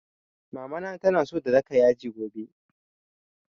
Mama na so ta daka yaji gobe